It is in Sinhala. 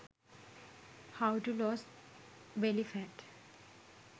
how to lose belly fat